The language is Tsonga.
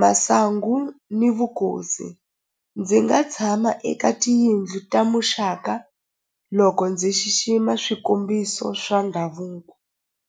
masangu ni vukosi ndzi nga tshama eka tiyindlu ta muxaka loko ndzi xixima swikombiso swa ndhavuko.